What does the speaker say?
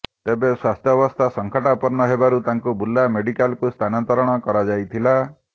ତେବେ ସ୍ବାସ୍ଥ୍ୟାବସ୍ଥା ସଙ୍କଟାପନ୍ନ ହେବାରୁ ତାଙ୍କୁ ବୁର୍ଲା ମେଡିକାଲକୁ ସ୍ଥାନାନ୍ତର କରାଯାଇଥିଲା